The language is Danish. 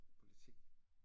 Politik